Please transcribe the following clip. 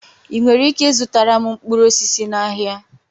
Ị nwere ike ịzụtara m mkpụrụ osisi n'ahịa?